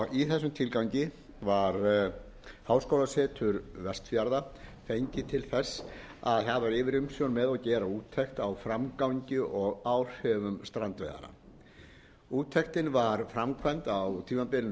í þessum tilgangi var háskólasetur vestfjarða fengið til þess að hafa yfirumsjón með og gera úttekt á framgangi og áhrifum strandveiðanna úttektin var framkvæmd á tímabilinu